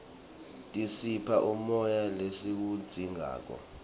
tisipha umoya lesiwudzingako